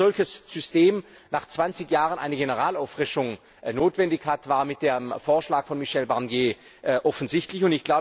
Dass ein solches System nach 20Jahren eine Generalauffrischung notwendig hat, wurde mit dem Vorschlag von Michel Barnier offensichtlich.